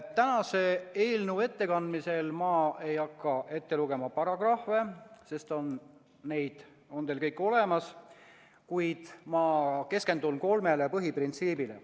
Eelnõu ettekandmisel ei hakka ma ette lugema kõiki paragrahve, sest need on teil olemas, vaid ma keskendun kolmele põhiprintsiibile.